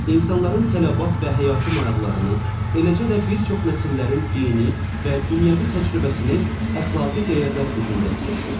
İnsanların tələbat və həyati maraqlarını, eləcə də bir çox nəsillərin dini və dünyəvi təcrübəsini əxlaqi dəyərlər özündə əks etdirir.